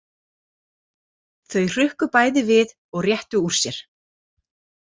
Þau hrukku bæði við og réttu úr sér.